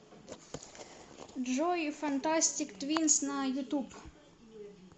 джой фантастик твинс на ютуб